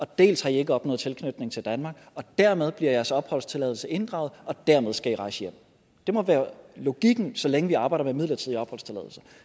dels har i ikke opnået tilknytning til danmark og dermed bliver jeres opholdstilladelse inddraget og dermed skal i rejse hjem det må være logikken så længe vi arbejder med midlertidige opholdstilladelser